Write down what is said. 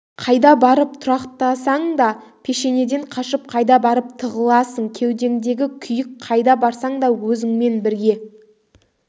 қайда барып тұрақтасаң да пешенеден қашып қайда барып тығыласың кеудеңдегі күйік қайда барсаң да өзіңмен бірге